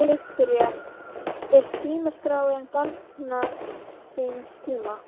Viktoría: Er símaskráin barn síns tíma?